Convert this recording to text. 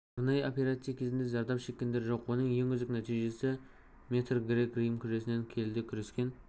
арнайы операция кезінде зардап шеккендер жоқ оның ең үздік нәтижесі метр грек рим күресінен келіде күрескен